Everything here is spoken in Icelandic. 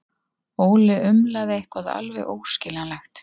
Óli umlaði eitthvað alveg óskiljanlegt.